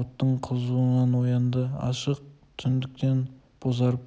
оттың қызуынан оянды ашық түндіктен бозарып